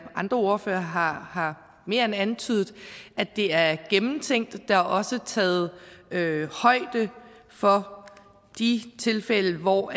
andre ordførere har har mere end antydet at det er gennemtænkt der er også taget højde for de tilfælde hvor